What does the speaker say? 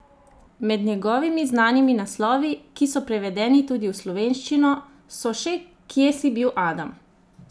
Med njegovimi znanimi naslovi, ki so prevedeni tudi v slovenščino, so še Kje si bil, Adam?